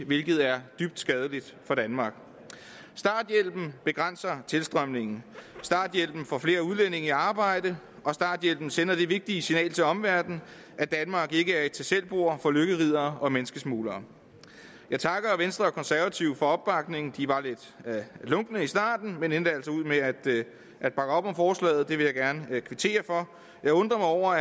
hvilket er dybt skadeligt for danmark starthjælpen begrænser tilstrømningen starthjælpen får flere udlændinge i arbejde og starthjælpen sender det vigtige signal til omverdenen at danmark ikke er et tag selv bord for lykkeriddere og menneskesmuglere jeg takker venstre og konservative for opbakningen de var lidt lunkne i starten men endte altså med at at bakke op om forslaget og det vil jeg gerne kvittere for jeg undrer